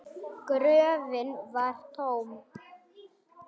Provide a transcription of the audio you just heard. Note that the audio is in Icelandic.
Gröfin var tóm.